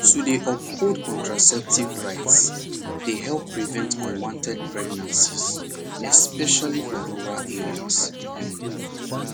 to dey uphold contraceptive rights dey help prevent unwanted pregnancies especially for rural areas um